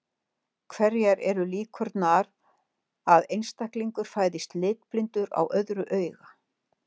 Hverjar eru líkurnar að einstaklingur fæðist litblindur á öðru auga?